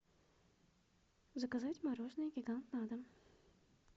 заказать мороженое гигант на дом